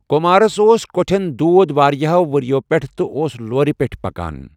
کُمارَس اوس کۄٹھٚن دود واریاہَو ؤرۍ یَو پیٚٹھٕ، تہٕ اوس لورِ پیٚٹھ پکان۔